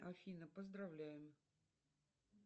афина поздравляем